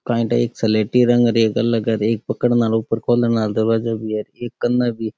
काई थां एक सलेटी रंग एक अलग की एक पकड़ न आरो दरवाजों --